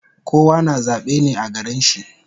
Kowa na zabe ne a garin shi